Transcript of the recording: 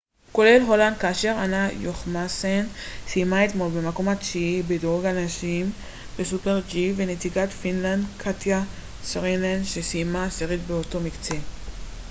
כולל הולנד כאשר אנה יוחמסן סיימה אתמול במקות התשיעי בדירוג הנשים בסופר־ג'י ונציגת פינלנד קטיה סרינן שסיימה עשירית באותו מקצה